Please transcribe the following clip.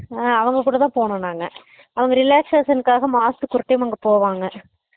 ஆஹ் அவங்க கூட தான் போனோம் நாங்க அவங்க relaxation காக மாசத்திக்கு ஒரு time அங்க போவாங்க